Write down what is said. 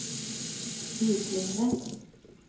utlignet